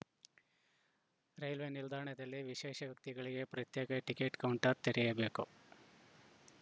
railway ನಿಲ್ದಾಣದಲ್ಲಿ ವಿಶೇಷ ವ್ಯಕ್ತಿಗಳಿಗೆ ಪ್ರತ್ಯೇಕ ಟಿಕೆಟ್‌ ಕೌಂಟರ್‌ ತೆರೆಯಬೇಕು